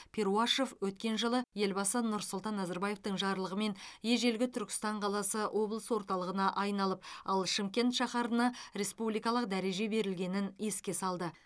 перуашев өткен жылы елбасы нұрсұлтан назарбаевтың жарлығымен ежелгі түркістан қаласы облыс орталығына айналып ал шымкент шаһарына республикалық дәреже берілгенін еске салды